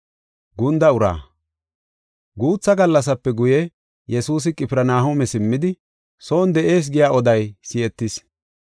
Guutha gallasape guye, Yesuusi Qifirnahooma simmidi, son de7ees giya oday si7etis.